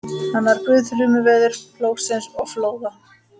Hann var guð þrumuveðurs, plógsins og flóða.